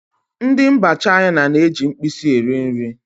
Ndị mba China na-eji mkpịsị eri nri